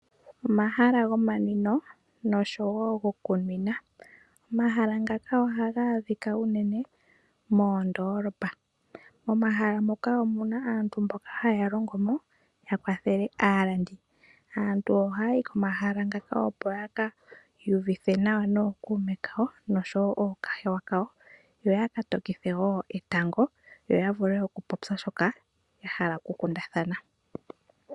Omahala gomanwino nosho wo gokunwina. Omahala ngaka ohaga adhika unene moondoolopa. Omahala moka omuna aantu mboka haya longo mo yakwathele aalandi. Aantu ohaya yi komahala ngaka opo yiki iyuvithe nawa nookuume nosho wo nookahewa kawo yo ya ka tokithe wo etango, yo yavule okupopya shoka yahala okukundathana.